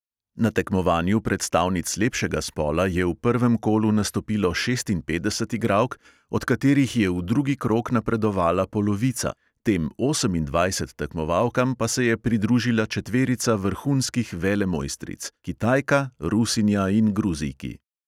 Na tekmovanju predstavnic lepšega spola je v prvem kolu nastopilo šestinpetdeset igralk, od katerih je v drugi krog napredovala polovica, tem osemindvajset tekmovalkam pa se je pridružila četverica vrhunskih velemojstric: kitajka, rusinja in gruzijki.